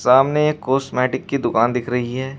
सामने एक कॉस्मेटिक की दुकान दिख रही है।